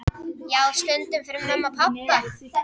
Já, stundum fyrir mömmu og pabba.